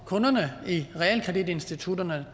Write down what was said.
kunderne i realkreditinstitutterne